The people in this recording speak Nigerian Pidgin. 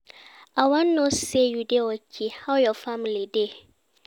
I wan know say you dey okay, how your family dey?